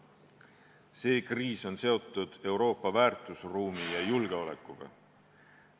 See kriis on seotud Euroopa väärtusruumi ja julgeolekuga.